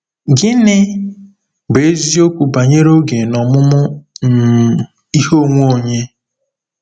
Gịnị bụ eziokwu banyere oge na ọmụmụ um ihe onwe onye?